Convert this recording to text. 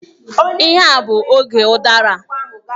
Ihe a bụ oge udara.